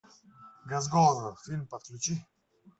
газгольдер фильм подключи